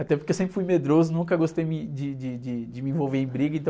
Até porque eu sempre fui medroso, nunca gostei me, de, de, de, de me envolver em briga.